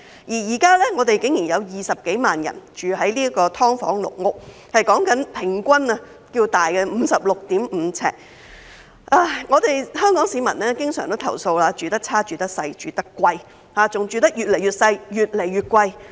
現在竟然有20多萬人住在"劏房"、"籠屋"，有關居民的人均居住面積是 56.5 平方呎。香港市民經常投訴"住得差，住得細，住得貴"，還要"住得越來越細、越來越貴"。